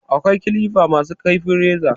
Akwai kilifa ma su kaifin reza